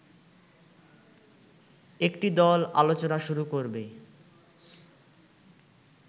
একটি দল আলোচনা শুরু করবে